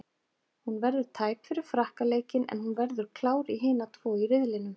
Hún verður tæp fyrir Frakka leikinn en hún verður klár í hina tvo í riðlinum.